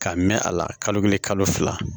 K'a mɛn a la kalo kelen kalo fila